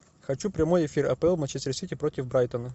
хочу прямой эфир апл манчестер сити против брайтона